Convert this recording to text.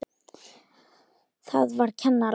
Það var kennara